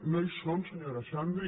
no hi són senyora xandri